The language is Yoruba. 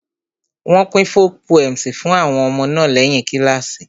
Wọ́n pín folk poems fún àwọn ọmọ náà lẹ́yìn kíláàsì